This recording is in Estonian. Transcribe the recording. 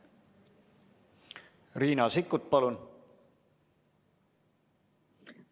Riina Sikkut, palun!